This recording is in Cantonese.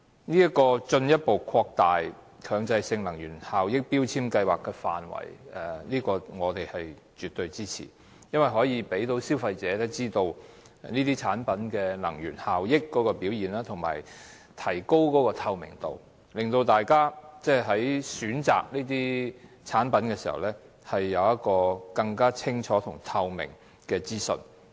對於進一步擴大強制性標籤計劃的範圍，我們是絕對支持的，因為可以讓消費者知道電器產品的能源效益表現，提高透明度，讓大家在選購這些產品時，有更清楚及透明的資訊。